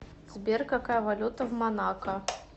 сбер какая валюта в монако